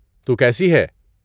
تو کیسی ہے؟